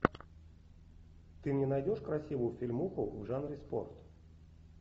ты мне найдешь красивую фильмуху в жанре спорт